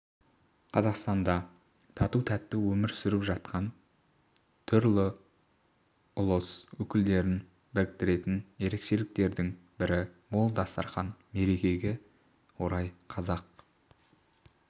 қазақстанда тату-тәтті өмір сүріп жатқан түрлі ұлыс өкілдерін біріктіретін ерекшеліктердің бірі мол дастарқан мерекеге орай қазақ